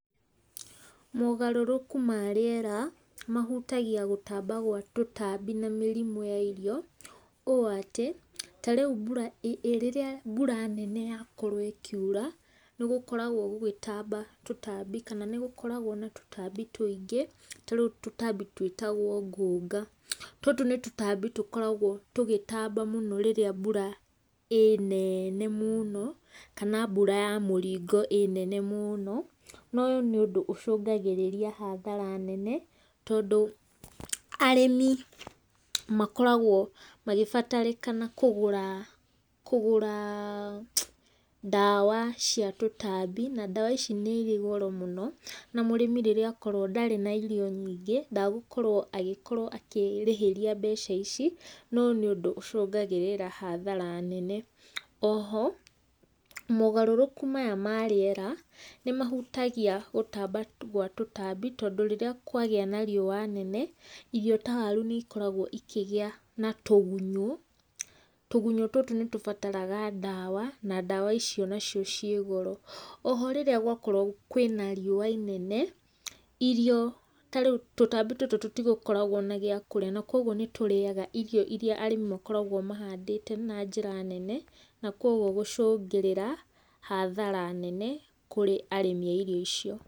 Mogarũrũku ma rĩera, mahutagia gũtamba gwa tũtambi na mĩrimũ ya irio, ũũ atĩ ta rĩu mbura ĩ rĩrĩa mbura nene yakorwo ĩkiura, nĩ gũkoragwo gũgĩtamba tũtambi kana nĩ gũkoragwo na tũtambi tũingĩ, ta rĩu tũtambi twĩtagwo ngũnga, tũtũ nĩ tũtambi tũkoragwo tũgĩtamba mũno rĩrĩa mbura ĩ nene mũno kana mbura ya mũringo ĩ nene mũno, noyũ nĩ ũndũ ũcũngagĩrĩria hathara nene tondũ arĩmi makoragwo magĩbatarĩkana kũgũra kũgũra ndawa cia tũtambi, na ndawa ici nĩ irĩ goro mũno, na mũrĩmi rĩrĩa akorwo ndarĩ na irio nyingĩ ndagũkorwo agĩkorwo akĩrĩhĩria mbeca ici, noyũ nĩ ũndũ ũcũngagĩrĩria hathara nene. Oho mogarũrũku maya ma rĩera nĩ mahutagia gũtamba gwa tũtambi tondũ rĩrĩa kwagĩa na riũa nene , irio ta waru nĩ ikoragwo ikĩgĩa na tũgunyũ, tũgunyũ tũtũ nĩ tũbataraga ndawa, na ndawa icio nacio ciĩ goro, oho rĩrĩa gwakorwo kwĩna riũa inene, irio ta rĩu tũtambi tũtũ tũtikoragwo na gĩakũrĩa na koguo nĩ tũrĩaga irio iria arĩmi makoragwo mahandĩte na njĩra nene, na koguo gũcũngĩrĩra hathara nene kũrĩ arĩmi a irio icio.